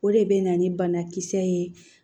O de bɛ na ni banakisɛ ye